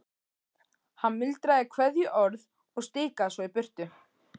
Hann muldraði kveðjuorð og stikaði svo í burtu.